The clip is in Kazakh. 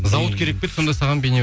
завод керек пе еді сонда саған